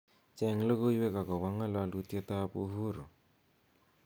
cheng logoiwek agobo ngololutyetab uhuru